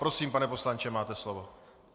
Prosím, pane poslanče, máte slovo.